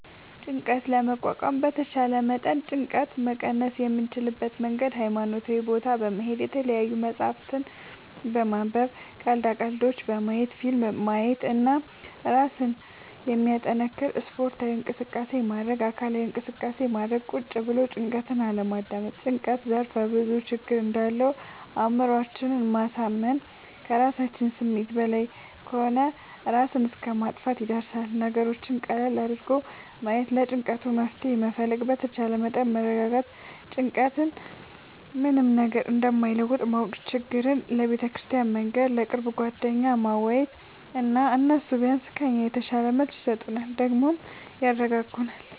ጭንቀት ለመቋቋም በተቻለ መጠን ጭንቀት መቀነስ የምንችልበት መንገድ ሀይማኖታዊ ቦታ በመሄድ፣ የተለያዪ መፅሀፍት በማንበብ፣ ቀልዳ ቀልዶች በማየት፣ ፊልም ማየት እና እራስን የሚያጠነክር ስፓርታዊ እንቅስቃሴ ማድረግ። አካላዊ እንቅስቃሴ ማድረግ ቁጭ ብሎ ጭንቀትን አለማዳመጥ። ጭንቀት ዘርፍ ብዙ ችግር እንዳለው አእምሮአችን ማሳመን ከራሳችን ስሜት በላይ ከሆነ እራስን እስከ ማጥፍትም ይደርሳል። ነገሮችን ቀለል አድርጎ ማየት ለጭንቀቱ መፍትሄ መፈለግ በተቻለ መጠን መረጋጋት ጭንቀት ምንም ነገር እንደማይለውጥ ማወቅ ችግራችን ለቤተክርስቲያን መንገር፣ ለቅርብ ጓደኛ ማዋየት እና እነሱ ቢያንስ ከኛ የተሻለ መልስ ይሰጡናል ደግሞም ያረጋጉናል።